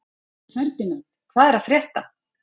Ferdínand, hvað er að frétta?